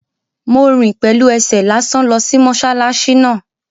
Mo rìn pẹ̀lú ẹsẹ̀ lásán lọ sí mọ́sálásí náà